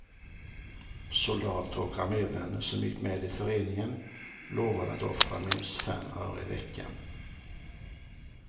Soldater och armévänner som gick med i föreningen lovade att offra minst fem öre i veckan.